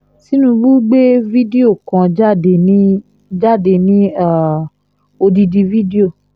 tinúbù gbé fídó kan jáde ní jáde ní um odidi fídíò